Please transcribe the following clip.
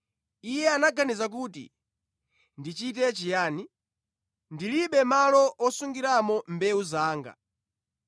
Iye anaganiza kuti, ‘Ndichite chiyani? Ndilibe malo osungiramo mbewu zanga.’